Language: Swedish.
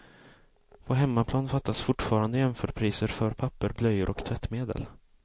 På hemmaplan fattas fortfarande jämförpriser för papper, blöjor och tvättmedel.